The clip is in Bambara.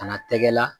Kana tɛgɛla